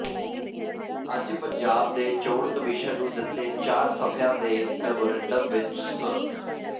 ਅੱਜ ਪੰਜਾਬ ਦੇ ਚੋਣ ਕਮਿਸ਼ਨ ਨੂੰ ਦਿਤੇ ਚਾਰ ਸਫ਼ਿਆਂ ਦੇ ਮੈਮੋਰੰਡਮ ਵਿਚ ਸ